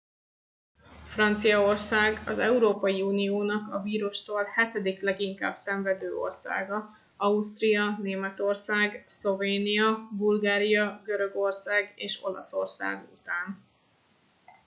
franciaország az európai uniónak a vírustól hetedik leginkább szenvedő országa ausztria németország szlovénia bulgária görögország és olaszország után